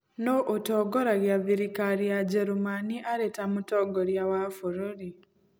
Nũũ ũtongoragia thirikari ya Njerumani arĩ ta Mũtongoria wa Bũrũri?